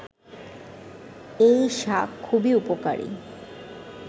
এই শাক খুবই উপকারী